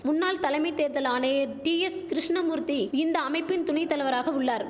முன்னாள் தலைமை தேர்தல் ஆணேர் டிஎஸ் கிருஷ்ணமூர்த்தி இந்த அமைப்பின் துணை தலவராக உள்ளார்